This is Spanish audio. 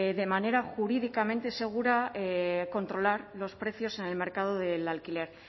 de manera jurídicamente segura controlar los precios en el mercado del alquiler